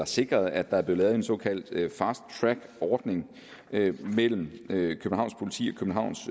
sikret at der er blevet lavet en såkaldt fast track ordning mellem københavns